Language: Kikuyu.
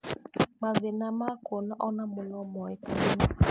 Mathĩna ma kuona onamo nomonekane